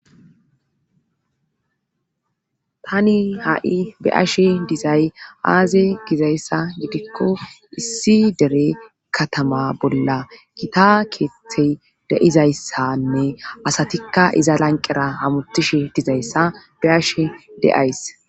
tani ha'i be'ashe dizay aaze gizayssa gidikko issi dere katama bolla gita keeththey de'izayssanne asatikka iza lanqera hamutishe dizayssa be ashe de'ays.